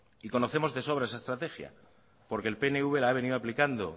y conocemos de sobra esa estrategia porque el pnv la ha venido aplicando